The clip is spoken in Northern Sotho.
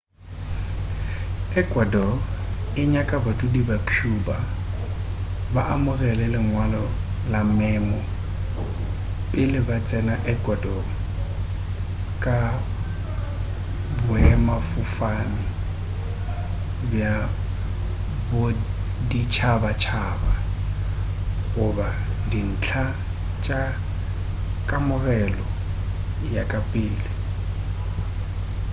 ecuador e nyaka badudi ba cuba ba amogele lengwalo la memo pele ba tsena ecuador ka boemafofane bja boditšhabatšhaba goba dintlha tša kamogelo ya ka pele